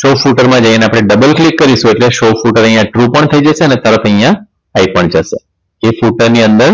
Source Flutter માં જઈને આપણે Double click કરીશું એટલે Source Flutter અહીંયા true પણ થઈ જશે અને તરત અહીંયા થઈ પણ જશે જે Flutter ની અંદર